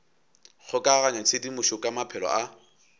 kgokaganya tshedimošo ka maphelo a